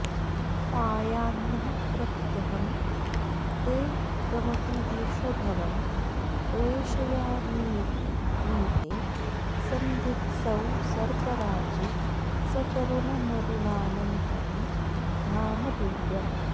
पायान्नः प्रत्यहं ते कमपि विषधरं प्रेषयामीति भीते सन्धित्सौ सर्पराजे सकरुणमरुणानन्तरं धाम दिव्यम्